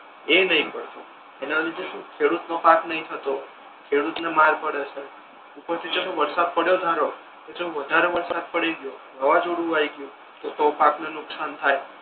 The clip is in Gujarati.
એ નહી પડતો એટલે સમજ્યો તુ હમ ખેડૂત નો પાક નહી થતો ખેડૂત ને માર પડે છે ઉપરથી ચાલો વરસાદ પડયો ધારો કે ચાલો વધારે વરસાદ પડી ગયો વવાજોડુ આઈ ગયુ તો તો પાક ને નુકશાન થાય